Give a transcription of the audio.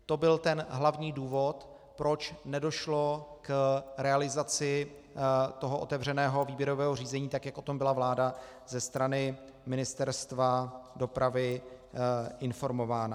To byl ten hlavní důvod, proč nedošlo k realizaci toho otevřeného výběrového řízení, tak jak o tom byla vláda ze strany Ministerstva dopravy informována.